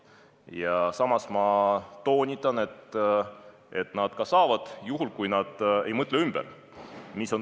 Ja samas ma toonitan, et nad ka saavad, juhul kui nad ei mõtle ümber.